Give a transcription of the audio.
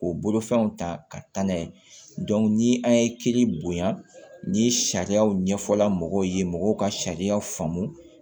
K'o bolofɛnw ta ka taa n'a ye ni an ye kiiri bonya ni sariyaw ɲɛfɔla mɔgɔw ye mɔgɔw ka sariyaw faamu